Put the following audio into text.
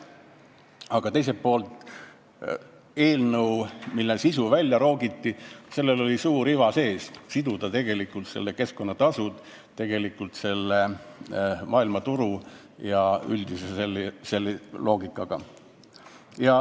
Aga teisalt, algsel eelnõul, mille sisu välja roogiti, oli suur iva sees: siduda keskkonnatasud maailmaturu üldise loogikaga.